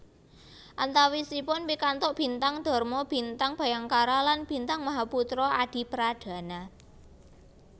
Antawisipun pikantuk Bintang Dharma Bintang Bhayangkara lan Bintang Mahaputra Adipradana